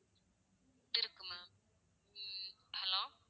இருக்கு ma'am hello